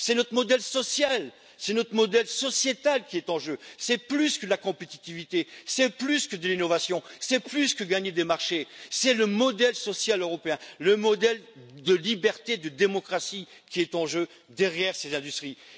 C'est notre modèle social, c'est notre modèle sociétal qui est en jeu, c'est plus que de la compétitivité, de l'innovation ou de gagner des marchés, c'est le modèle social européen, le modèle de liberté, de démocratie qui est en jeu derrière ces industries.